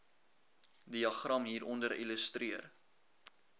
diagram hieronder illustreer